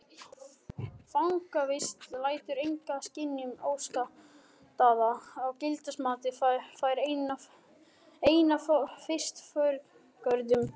Fangavist lætur enga skynjun óskaddaða og gildismatið fer einna fyrst forgörðum.